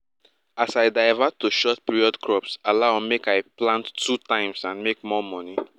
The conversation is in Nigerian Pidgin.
as i divert to short period crops allow make i plant two times and make more money